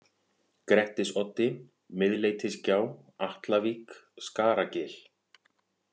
Grettisoddi, Miðleitisgjá, Atlavík, Skaragil